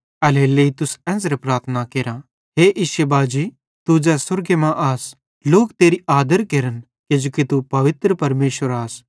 एल्हेरेलेइ तुस एन्च़रे प्रार्थना केरा हे इश्शे बाजी तू ज़ै स्वर्गे मां आस लोक तेरी आदर केरन किजोकि तू पवित्र परमेशर आस